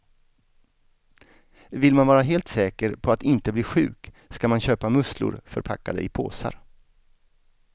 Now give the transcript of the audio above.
Vill man vara helt säker på att inte bli sjuk ska man köpa musslor förpackade i påsar.